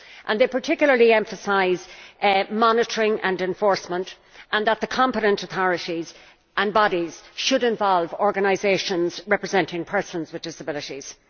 They particularly emphasise monitoring and enforcement, and that the competent authorities and bodies should involve organisations representing persons with disabilities.